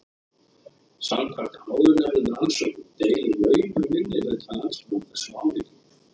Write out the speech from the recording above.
Samkvæmt áðurnefndum rannsóknum deilir naumur minnihluti landsmanna þessum áhyggjum.